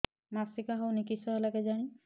ମାସିକା ହଉନି କିଶ ହେଲା କେଜାଣି